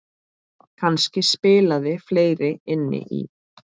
Kannski spilaði fleira inn í.